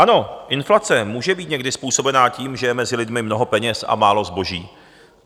Ano, inflace může být někdy způsobena tím, že je mezi lidmi mnoho peněz a málo zboží.